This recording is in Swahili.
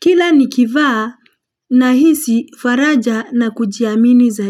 Kila nikivaa na hisi faraja na kujiamini zai.